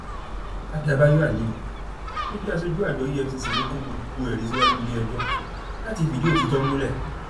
àdàbàyò aliyu tó jẹ aṣojú àjọ efcc ló kó gbogbo ẹrí síwájú iléẹjọ láti fìdí òtítọ múlẹ